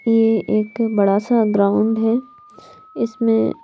ये एक बड़ा सा ग्राउंड है इसमें--